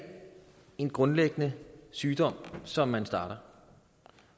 en grundlæggende sygdom som man starter